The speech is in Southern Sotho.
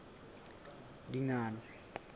dingane